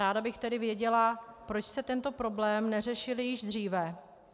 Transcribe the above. Ráda bych tedy věděla, proč jste tento problém neřešili již dříve.